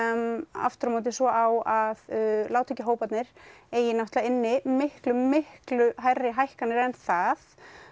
aftur á móti svo á að lágtekjuhóparnir eigi inni miklu miklu hærri hækkanir en það